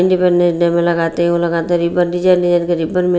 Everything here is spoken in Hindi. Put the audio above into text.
इंडिपेंडेंस डे मे लगाते वो लगाते रिबन रिबन मे--